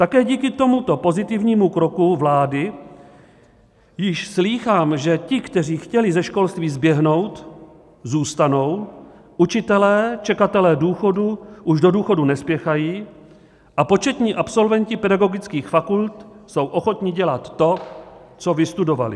Také díky tomuto pozitivnímu kroku vlády již slýchám, že ti, kteří chtěli ze školství zběhnout, zůstanou, učitelé - čekatelé důchodů už do důchodu nespěchají a početní absolventi pedagogických fakult jsou ochotni dělat to, co vystudovali.